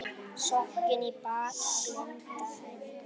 Sokkinn í bálk blinda Eng